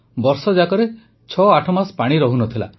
ବର୍ଷଯାକରେ ୬୮ ମାସ ପାଣି ରହୁନଥିଲା